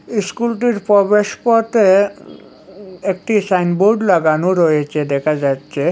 ইস্কুলটির প্রবেশপথে একটি সাইনবোর্ড লাগানো রয়েছে দেখা যাচ্ছে।